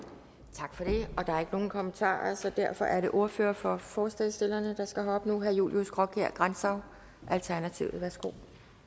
tak for det og der er ikke nogen kommentarer så derfor er det ordføreren for forslagsstillerne der skal herop nu herre julius graakjær grantzau alternativet værsgo